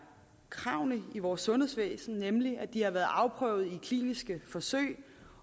kravene i vores sundhedsvæsen nemlig at de har været afprøvet i kliniske forsøg